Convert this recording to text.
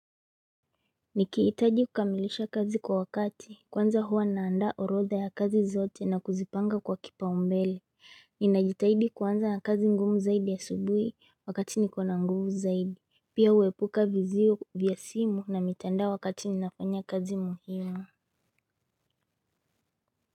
Nikiitaji kukamilisha kazi kwa wakati kwanza huwa naanda orotha ya kazi zote na kuzipanga kwa kipa umbele Ninajitaidi kwanza na kazi ngumu zaidi ya subuhi wakati nikona nguvu zaidi Pia uwepuka vizio vya simu na mitanda wakati minafanya kazi muhimu.